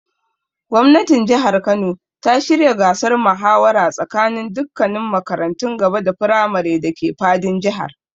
Gwamnatin Jihar Kano ta shirya gasar muhawara tsakaninin dukkannin makarantun gaba da firamare dake fadin Jihar.